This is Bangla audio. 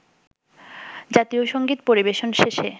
জাতীয় সঙ্গীত পরিবেশন শেষে